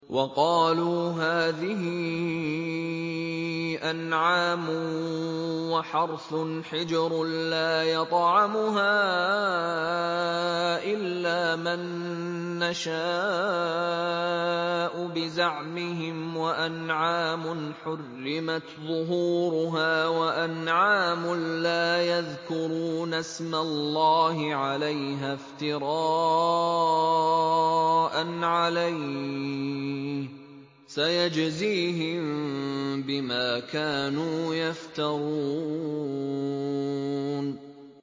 وَقَالُوا هَٰذِهِ أَنْعَامٌ وَحَرْثٌ حِجْرٌ لَّا يَطْعَمُهَا إِلَّا مَن نَّشَاءُ بِزَعْمِهِمْ وَأَنْعَامٌ حُرِّمَتْ ظُهُورُهَا وَأَنْعَامٌ لَّا يَذْكُرُونَ اسْمَ اللَّهِ عَلَيْهَا افْتِرَاءً عَلَيْهِ ۚ سَيَجْزِيهِم بِمَا كَانُوا يَفْتَرُونَ